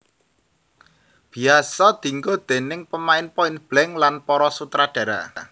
Biyasa dienggo déning pemain Point Blank lan para sutradara